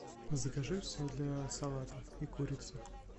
закажи все для салата и курицу